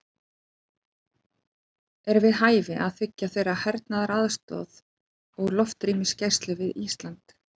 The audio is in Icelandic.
Er við hæfi að þiggja þeirra hernaðaraðstoð og loftrýmisgæslu við Ísland?